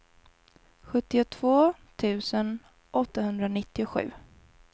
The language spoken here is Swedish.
sjuttiotvå tusen åttahundranittiosju